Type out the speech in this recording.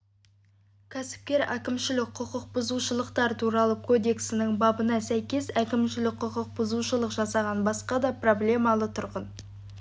кәсіпкер әкімшілік құқық бұзушылықтар туралы кодекстың бабына сәйкес әкімшілік құқық бұзушылық жасаған басқа да проблемалы тұрғын